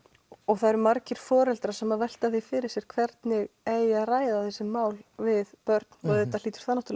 það eru margir foreldrar sem velta því fyrir sér hvernig eigi að ræða þessi mál við börn og auðvitað hlýtur það